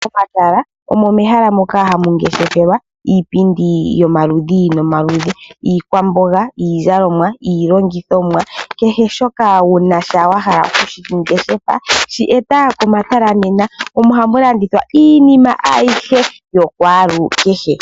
Pomatala omo mehala moka hamungeshefelwa iipindi yomaludhi nomaludhi iikwamboga, iizalomwa ,iilongithonwa kehe shika wunasha wahala okushingeshefa shi eta komatala nena omo hamu landithwa iinima ayihe yokwaalukehe.